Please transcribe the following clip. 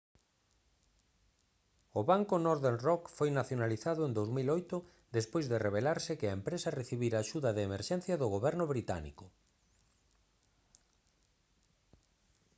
o banco northern rock foi nacionalizado en 2008 despois de revelarse que a empresa recibira axuda de emerxencia do goberno británico